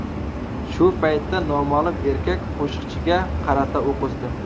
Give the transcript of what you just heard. Shu paytda noma’lum erkak qo‘shiqchiga qarata o‘q uzdi.